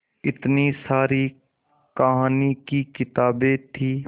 इतनी सारी कहानी की किताबें थीं